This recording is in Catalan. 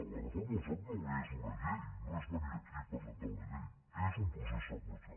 la reforma del soc no és una llei no és venir aquí i presentar una llei és un procés seqüencial